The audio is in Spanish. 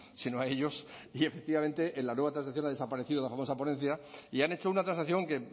sino a ellos y efectivamente en la nueva transacción ha desaparecido de la famosa ponencia y han hecho una transacción que